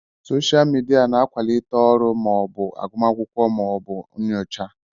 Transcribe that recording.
Soshal midia na-akwalite ọrụ ma ọ bụ agụmakwụkwọ ma ọ bụ nyocha.